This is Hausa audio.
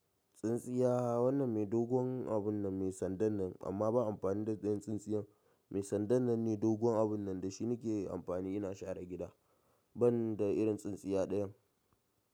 Tsintsiya wannan mai dogon abun nan mai sandan nan amma ba amfani da ɗayan tsintsiyan mai sandan nan ne dogon abun nan da shi nike amfani ina share gida ban da irin tsintsiya ɗayan.